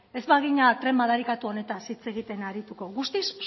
ez bagina tren madarikatu honetaz hitz egiten arituko guztiz